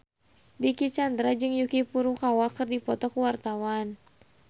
Dicky Chandra jeung Yuki Furukawa keur dipoto ku wartawan